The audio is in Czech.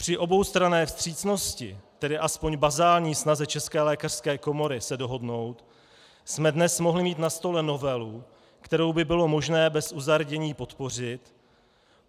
Při oboustranné vstřícnosti, tedy alespoň bazální snaze České lékařské komory se dohodnout, jsme dnes mohli mít na stole novelu, kterou by bylo možné bez uzardění podpořit.